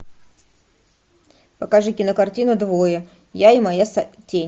покажи кинокартину двое я и моя тень